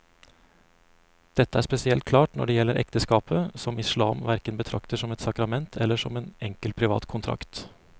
Dette er spesielt klart når det gjelder ekteskapet, som islam hverken betrakter som et sakrament eller som en enkel privat kontrakt.